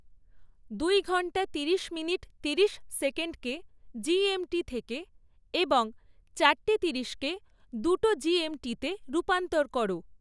দুই ঘণ্টা তিরিশ মিনিট তিরিশ সেকেন্ডকে জি. এম. টি. থেকে এবং চারটে তিরিশকে দুটো জি. এম. টিতে রূপান্তর করো।